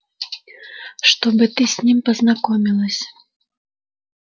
чтобы ты с ним познакомилась